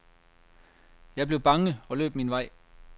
Jeg blev bange og løb min vej.